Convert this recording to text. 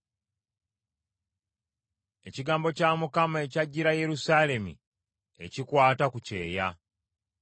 Ekigambo kya Mukama ekyajjira Yerusaalemi ekikwata ku kyeya.